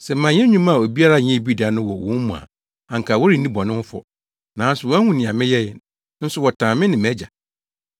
Sɛ manyɛ nnwuma a obiara nyɛɛ bi da no wɔ wɔn mu a anka wɔrenni bɔne ho fɔ; nanso wɔahu nea meyɛe, nso wɔtan me ne mʼAgya.